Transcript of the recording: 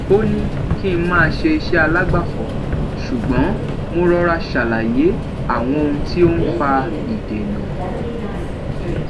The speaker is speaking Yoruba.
ó ní kí n máa ṣe iṣẹ alágbàfọ ṣùgbọn mo rọra ṣàlàyé àwọn ohun tí ó n fa ìdènà